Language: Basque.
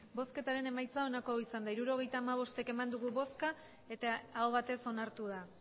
emandako botoak hirurogeita hamabost bai hirurogeita hamabost aho batez onartu da